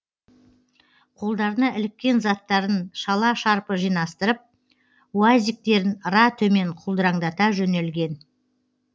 қолдарына іліккен заттарын шала шарпы жинастырып уазиктерін ыра төмен құлдыраңдата жөнелген